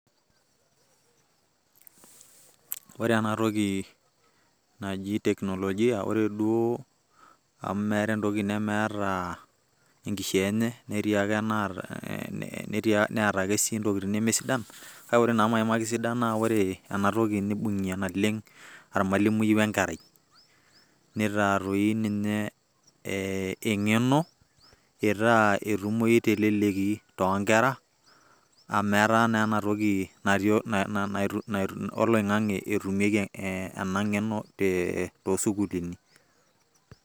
ore ena toki naji teknologia, ore duoo amu meeta entoki nemeeta enkishaa enye, netii ake anaata, neeta ake sii intokitin neme sidan, kake ore naa maimaki isidana naa ore enatoki, nibungie naleng ormalimui we nkerai, neitaa dii ninye engeno, itaa etumoyu telelki too nkera, amu etaa naa ena toki oloin'g'ang'e eitumiae too sukuuluni.